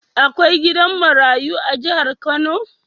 Akwai gidan marayu a jahar kano?